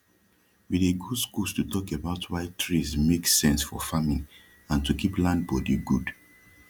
we dey go skuls to talk about why trees make sense for farming and to keep land bodi gud